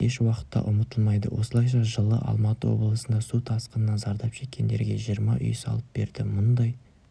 ешуақытта ұмытылмайды осылайша жылы алматы облысында су тасқынынан зардап шеккендерге жиырма үй салып берді мұндай